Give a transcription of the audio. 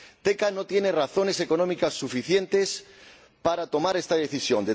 Teka no tiene razones económicas suficientes para tomar esta decisión.